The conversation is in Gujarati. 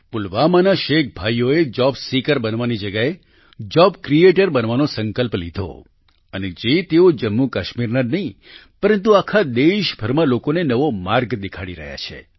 પુલવામાના શેખ ભાઈઓએ જોબ સીકર બનવાની જગ્યાએ જોબ ક્રિએટર બનવાનો સંકલ્પ લીધો અને જે તેઓ જમ્મુકાશ્મીર જ નહીં પરંતુ આખા દેશભરમાં લોકોને નવો માર્ગ દેખાડી રહ્યા છે